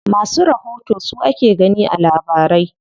Masu rahoto su ake gani a labarai.